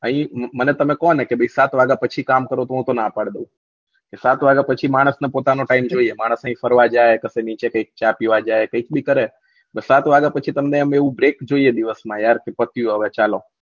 અહીં મને તમે કો ને કે સાત વાગા પછી કામ કરો તો હું તો ના પડી દવ કે સાત વાગ્યા પછી માણસ ને પોતાનો time જોવે માણસ ને એ ફરવા જાય પછી નીચે કઈ ચા પીવા જાય કઈ બી કરે પણ સાત વાગ્યા પછી તમને આમ એવું brec જોઈએ દિવસ માં યાર કે પત્યું હવે ચાલો